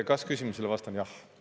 Kas-küsimusele vastan: jah.